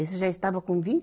Esse já estava com vim